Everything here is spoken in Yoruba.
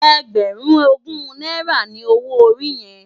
Ègbèrún ógún nàirá ni ôwó óri yèn?